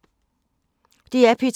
DR P2